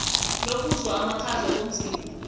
lokuzwa amakhaza komzimba